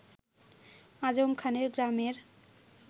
আজম খানের গ্রামের